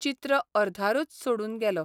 चित्र अर्धारूच सोडून गेलो.